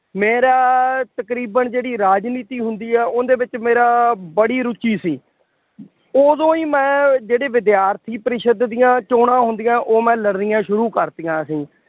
ਮੇਰਾ ਤਕਰੀਬਨ ਜਿਹੜੀ ਰਾਜਨੀਤੀ ਹੁੰਦੀ ਹੈ ਉਹਦੇ ਵਿੱਚ ਮੇਰਾ ਬੜੀ ਰੁੱਚੀ ਸੀ। ਉਦੋਂ ਹੀ ਮੈਂ ਜਿਹੜੇ ਵਿਦਿਆਰਥੀ ਪਰਿਸ਼ਦ ਦੀਆਂ ਚੋਣਾਂ ਹੁੰਦੀਆਂ ਉਹ ਮੈਂ ਲੜਨੀਆਂ ਸ਼ੁਰੂ ਕਰਤੀਆਂ ਸੀ।